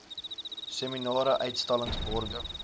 seminare uitstallings borge